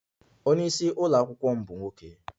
Onye isi ụlọ akwụkwọ m bụ nwoke